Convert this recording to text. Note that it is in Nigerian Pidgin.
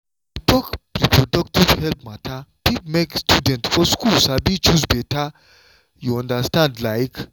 to talk reproductive health matter fit make students for school sabi choose better you understand like.